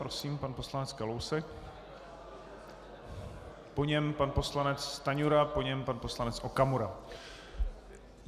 Prosím, pan poslanec Kalousek, po něm pan poslanec Stanjura, po něm pan poslanec Okamura.